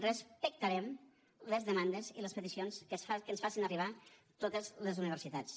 respectarem les demandes i les peticions que ens facin arribar totes les universitats